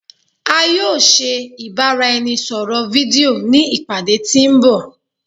A yoo se ibaraẹnisọrọ fidio ni ipade ti nbọ